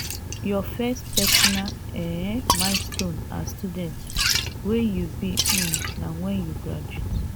your first personal um milestone as student wey you be um na wen you graduate.